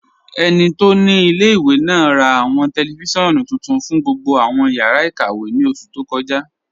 Ẹni tó ni ilẹ̀-ìwé náà rà awọn tẹlifisiọ̀nù tuntun fún gbogbo awọn yàrá ikàwé ní oṣù tó kọ́ja.